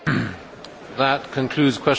That concludes Question Time.